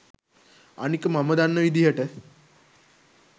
අනික මම දන්න විදිහට